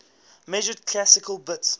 measured classical bits